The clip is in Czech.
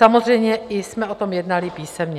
Samozřejmě jsme o tom jednali i písemně.